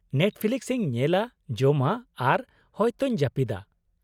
Netflix ᱤᱧ ᱧᱮᱞᱟ, ᱡᱚᱢᱟ, ᱟᱨ ᱦᱚᱭᱛᱚᱧ ᱡᱟᱹᱯᱤᱫᱟ᱾